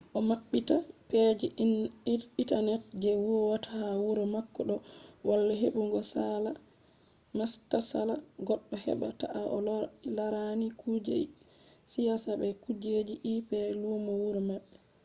kuje goɗɗo naftirta vpn o maɓɓita pej intanet je huwata ha wuro mako ɗo walla heɓugo saala matsala goɗɗo heɓɓa ta to o laran kuje siyasa be kujeji ip lumo wuro maɓɓe